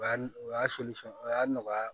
O y'a o y'a soli fɛn o y'a nɔgɔya